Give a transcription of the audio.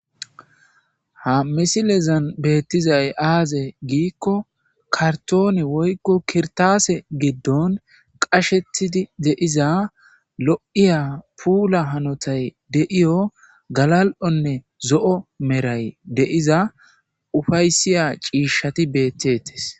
Ha misilezan beetizay aaze giiko kartoone woyko kirtaase giddon qashetidi diza lo7iyo galal7onne zo7iya puula hanotan ufayssiya ciishshay beetes.